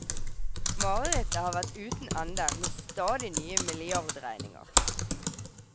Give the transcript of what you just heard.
Marerittet har vært uten ende, med stadig nye milliardregninger.